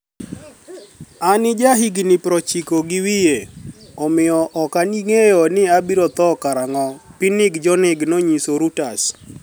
Ani jahiginii 90 gi wiye, omiyo ok anig'eyo nii abiro tho karanig'o, Pinig Jonig noniyiso Reuters.